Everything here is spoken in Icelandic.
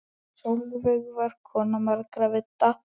Sólveig var kona margra vídda.